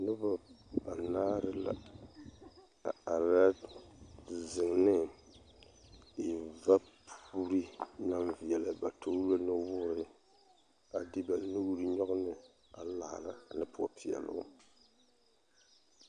Noba banaare la a are zeŋ ne vapoori naŋ veɛlɛ ba toori la nuwoori a de ba nuuri nyɔɡe ne a laara ne poɔpeɛloŋ .